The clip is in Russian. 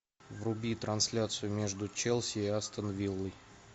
вруби трансляцию между челси и астон виллой